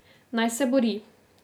Naj se bori.